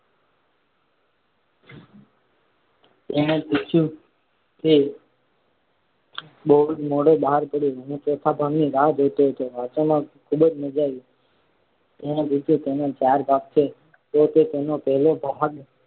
મેં પૂછ્યું કે બહુ જ મોડો બહાર પાડયો. હું ચોથા ભાગની રાહ જોતો હતો. વાંચવામાં ખૂબ મજા આવી. મેં પૂછ્યું તેના ચાર ભાગ છે તો તો તેનો પહેલો ભાગ